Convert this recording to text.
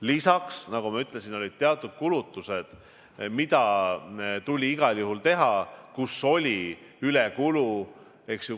Lisaks, nagu ma ütlesin, olid teatud kulutused, mida tuli igal juhul teha, aga kus oli ülekulu.